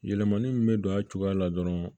Yɛlɛmani min bɛ don a cogoya la dɔrɔn